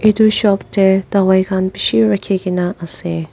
itu shop teh dawai khan bishi rakhigena ase.